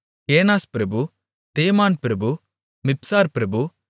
கேனாஸ் பிரபு தேமான் பிரபு மிப்சார் பிரபு